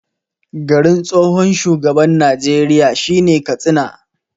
Garin tsohon shugaban Najeriya shine Katsina